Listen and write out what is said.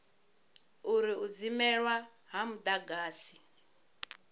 uri u dzimelwa ha mudagasi